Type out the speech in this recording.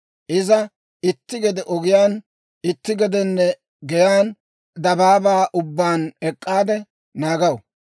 Iza itti gede ogiyaan, itti gede geyaan, dabaabaa ubbaan ek'k'aade naagaw.